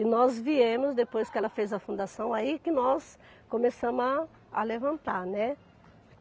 E nós viemos, depois que ela fez a fundação, aí que nós começamos a a levantar, né.